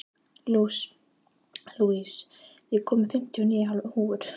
Louise, ég kom með fimmtíu og níu húfur!